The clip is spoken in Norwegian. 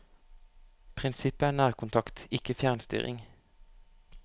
Prinsippet er nærkontakt, ikke fjernstyring.